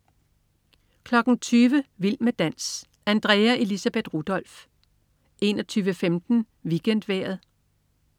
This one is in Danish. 20.00 Vild med dans. Andrea Elisabeth Rudolph 21.15 WeekendVejret